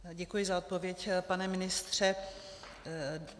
Děkuji za odpověď, pane ministře.